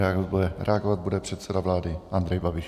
Reagovat bude předseda vlády Andrej Babiš.